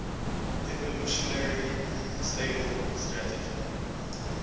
evolutionarily stable strategy